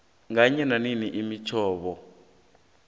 kanye neminye imihlobo